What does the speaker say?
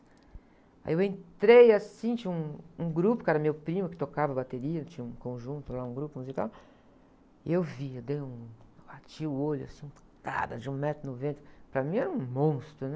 Aí eu entrei, assim, tinha um, um grupo, que era meu primo que tocava bateria, tinha um conjunto lá, um grupo musical, e eu vi, eu dei um, eu bati o olho assim, um cara de um metro e noventa, para mim era um monstro, né?